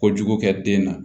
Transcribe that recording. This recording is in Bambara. Kojugu kɛ den na